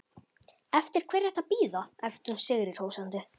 Eftir hverju ertu að bíða? æpti hún sigrihrósandi.